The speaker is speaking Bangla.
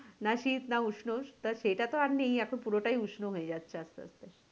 না শীত না উষ্ণ সেটা তো আর নেই এখন পুরোটাই উষ্ণ হয়ে যাচ্ছে আসতে আসতে।